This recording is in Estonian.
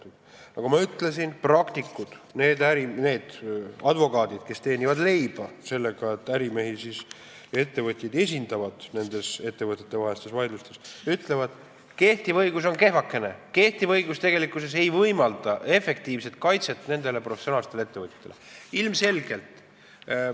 Aga nagu ma ütlesin, praktikud, need advokaadid, kes teenivad leiba sellega, et esindavad ärimehi ja ettevõtjaid nendes ettevõtjatevahelistes vaidlustes, ütlevad, et kehtiv õigus on kehvakene, kehtiv õigus tegelikkuses ei võimalda nendele professionaalsetele ettevõtjatele efektiivset kaitset.